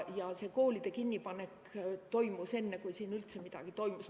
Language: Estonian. Ja koolid pandi kinni enne, kui siin üldse midagi toimus.